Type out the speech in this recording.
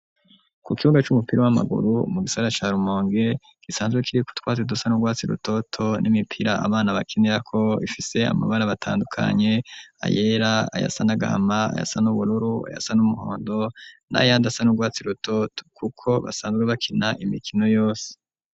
Ku kibuga c'umupira w'amaguru mu gisagara ca Rumonge gisanzwe kiriko utwatsi dusa nurwatsi rutoto n'imipira abana bakinirako ifise amabara atandukanye ayera, ayasa nagahama, ayasa nubururu, ayasa numuhondo, n'ayandi asa nurwatsi rutoto kuko basanzwe bakina imikino yose.